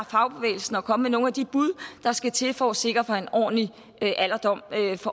fagbevægelsen og komme med nogle af de bud der skal til for at sikre en ordentlig alderdom